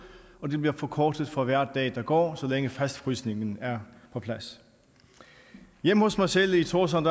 og det bliver forkortet for hver dag der går så længe fastfrysningen er på plads hjemme hos mig selv i tórshavn